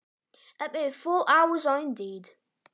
Vantar að vísu fjóra tíma upp á.